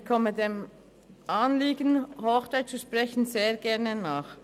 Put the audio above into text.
Ich komme den Anliegen, Hochdeutsch zu sprechen, sehr gerne nach.